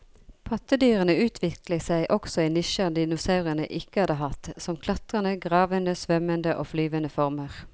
Pattedyrene utviklet seg også i nisjer dinosaurene ikke hadde hatt, som klatrende, gravende, svømmende og flyvende former.